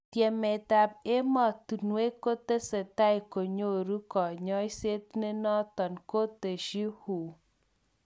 Tyemet ab emotunwek kotesetai konyoru konyoiset nenoton, koteshi WHO.